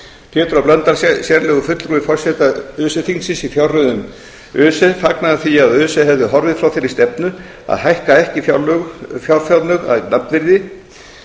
pétur h blöndal sérlegur fulltrúi forseta öse þingsins í fjárreiðum öse fagnaði því að öse hefði horfið frá þeirri stefnu að hækka ekki fjárframlög að nafnverði